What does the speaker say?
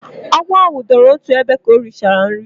Agwo ahu dooro otu ebe ka o richara nri